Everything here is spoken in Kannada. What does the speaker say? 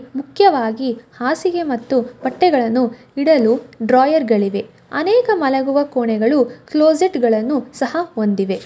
ಮುಖ್ಯವಾಗಿ ಹಾಸಿಗೆ ಮತ್ತು ಬಟ್ಟೆಗಳನ್ನು ಇಡಲು ಡ್ರಾಯರ್ ಗಳಿವೆ ಅನೇಕ ಮಲಗುವ ಕೋಣೆಗಳು ಕ್ಲೋಸೆಟ್ ಗಳನ್ನು ಸಹ ಹೊಂದಿವೆ.